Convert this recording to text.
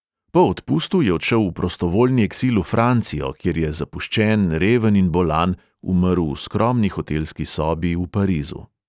Po odpustu je odšel v prostovoljni eksil v francijo, kjer je zapuščen, reven in bolan umrl v skromni hotelski sobi v parizu.